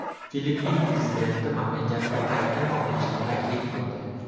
Filippin prezidenti mamlakatni qayta nomlashni taklif qildi.